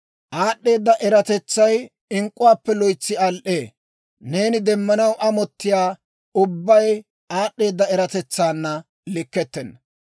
Aad'd'eeda eratetsay ink'k'uwaappe loytsi al"ee; neeni demmanaw amottiyaa ubbay aad'd'eeda eratetsaanna likkettenna.